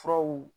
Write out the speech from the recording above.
Furaw